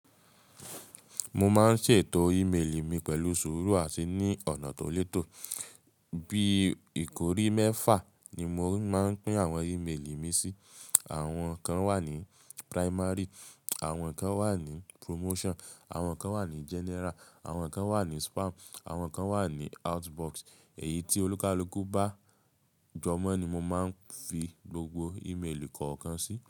Mo máa ń ṣètò íméelì mi pẹ̀lú sùúrù àti ní ọ̀nà tó létò. Bí ìkórí mẹ́fà ni mo máa ń pín àwọn ímeélì mi sí. Àwọn kan wà ní primary, àwọn kan wà ní promotion, àwọn kan wà ní general, àwọn kan wà ní spam, àwọn kan wà ní outbox. Èyí tí olúkalùkù bá jọmọ́ ni mo máa ń fi gbogbo íméelì kọ̀ọ̀kan sí.